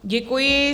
Děkuji.